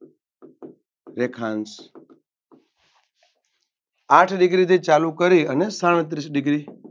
રેખાંશ આઠ Degree થી ચાલુ કરી અને સાડત્રીશ Degree